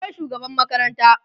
akwai shugaban makaranta